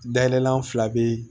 Dayɛlɛ la an fila bɛ